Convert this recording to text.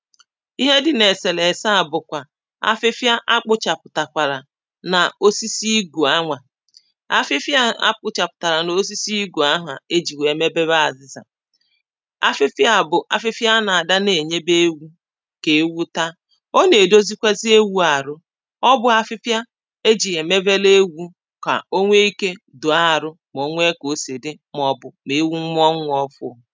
Ihe dị na eselese a bụkwà afịfịa akpọchapụtakwalà na osisi igu a nwa afịfị a kpọchaputala na osisi igu a nwa e ji mebewe azịza afịfị a bụ afịfị a a na-adị na-enyebe ewu ka ewu ta ọ na-edozikwazi ewu arụ̀ ọbụ afịfịa e ji ya emebele ewù ka o nweike toò arụ̀ ma onwe ka o si dị maọbụ̀ ma ewu mụọ nwa ọfụ